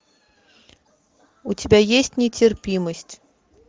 у тебя есть нетерпимость